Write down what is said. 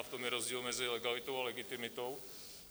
A v tom je rozdíl mezi legalitou a legitimitou.